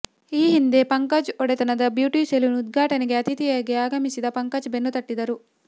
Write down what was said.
ಈ ಹಿಂದೆ ಪಂಕಜ್ ಒಡೆತನದ ಬ್ಯೂಟಿ ಸೆಲೂನ್ ಉದ್ಘಾಟನೆಗೆ ಅತಿಥಿಯಾಗಿ ಆಗಮಿಸಿ ಪಂಕಜ್ ಬೆನ್ನುತಟ್ಟಿದ್ದರು